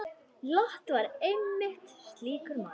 Lot var einmitt slíkur maður.